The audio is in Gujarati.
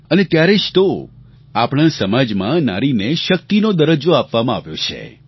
અને ત્યારે જ તો આપણા સમાજમાં નારીને શક્તિનો દરજ્જો આપવામાં આવ્યો છે